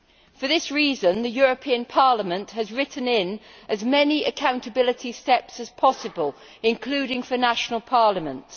For that reason, the European Parliament has written in as many accountability steps as possible, including for national parliaments.